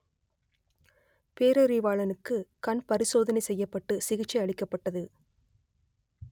பேரறிவாளனுக்கு கண் பரிசோதனை செய்யப்பட்டு சிகிச்சை அளிக்கப்பட்டது